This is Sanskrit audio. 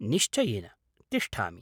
निश्चयेन। तिष्ठामि।